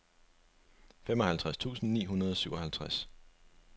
femoghalvtreds tusind ni hundrede og syvoghalvtreds